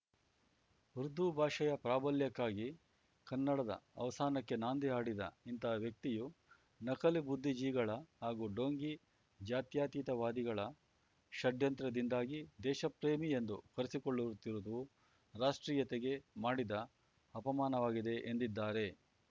ಉರ್ದು ಭಾಷೆಯ ಪ್ರಾಬಲ್ಯಕ್ಕಾಗಿ ಕನ್ನಡದ ಅವಸಾನಕ್ಕೆ ನಾಂದಿ ಹಾಡಿದ ಇಂತಹ ವ್ಯಕ್ತಿಯು ನಕಲಿ ಬುದ್ಧಿ ಜೀಗಳ ಹಾಗೂ ಡೋಂಗಿ ಜಾತ್ಯಾತೀತವಾದಿಗಳ ಷಡ್ಯಂತ್ರದಿಂದಾಗಿ ದೇಶಪ್ರೇಮಿ ಎಂದು ಕರೆಸಿಕೊಳ್ಳುತ್ತಿರುವುದು ರಾಷ್ಟ್ರೀಯತೆಗೆ ಮಾಡಿದ ಅಪಮಾನವಾಗಿದೆ ಎಂದಿದ್ದಾರೆ